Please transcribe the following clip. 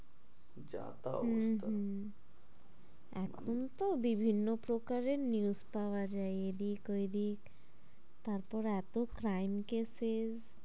যা তা অবস্থা হম হম এখন তো বিভিন্ন প্রকারের news পাওয়া যায় এদিক ওইদিক তারপরে এতো crime case এ